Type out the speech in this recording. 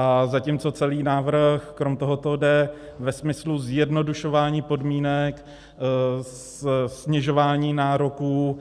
a zatímco celý návrh krom tohoto jde ve smyslu zjednodušování podmínek, snižování nároků,